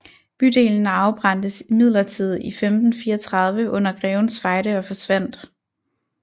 Bydelen afbrændtes imidlertid i 1534 under Grevens Fejde og forsvandt